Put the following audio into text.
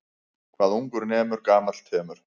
Hvað ungur nemur gamall temur.